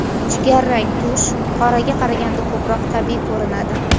Jigar rang tush qoraga qaraganda ko‘proq tabiiy ko‘rinadi.